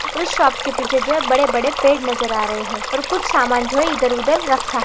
और उस शॉप के पीछे जो है बड़े बड़े पेड़ नज़र आ रहे है और कुछ सामान जो है इधर उधर रखा --